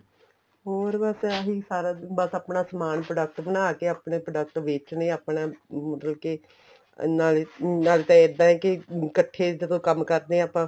ਹੋਰ ਬੱਸ ਆਈ ਸਾਰਾ ਦਿਨ ਬੱਸ ਆਪਣਾ ਸਮਾਨ product ਬਣਾਕੇ ਆਪਣੇ product ਵੇਚਣੇ ਆਪਣਾ ਮਤਲਬ ਕੇ ਨਾਲੇ ਨਾਲੇ ਇਹਦਾ ਏ ਕੇ ਇੱਕਠੇ ਜਦੋਂ ਕੰਮ ਕਰਦੇ ਆ ਆਪਾਂ